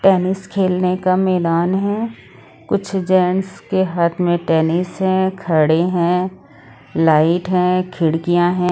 Tennis खेलने का मैदान है कुछ जेंट्स के हाथ में टेनिस है खड़े हैं लाइट हैं खिड़कियां है।